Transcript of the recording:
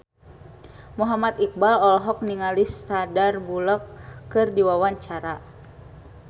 Muhammad Iqbal olohok ningali Sandar Bullock keur diwawancara